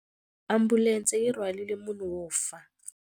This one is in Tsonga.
Ambulense yi rhwarile munhu wo fa.